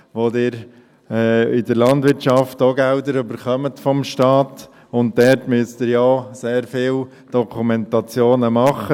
Sie bekommen in der Landwirtschaft auch Gelder vom Staat, und dort müssen Sie ja auch sehr viele Dokumentationen machen.